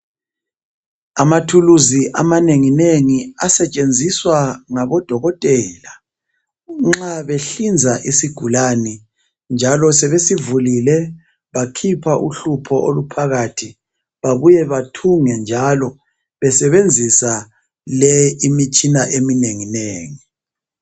Amathulusi amanenginengi asetshenziswa ngabodokotela nxa behlinza isigulane njalo sebesivulile bakhipha uhlupho oluphakathi babuye bathunge njalo besebenzisa le imitshina eminenginengi.